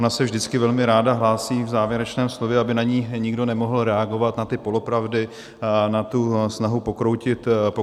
Ona se vždycky velmi ráda hlásí v závěrečném slovu, aby na ni nikdo nemohl reagovat, na ty polopravdy, na tu snahu pokroutit realitu.